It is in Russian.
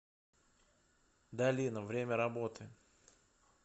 долина время работы